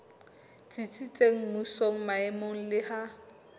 tsitsitseng mmusong maemong le ha